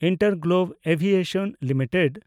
InterGlobe Aviation limited